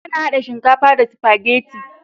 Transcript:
Ana hada shinkafa da sifageti